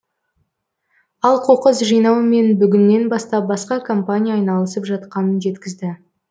ал қоқыс жинаумен бүгіннен бастап басқа компания айналысып жатқанын жеткізді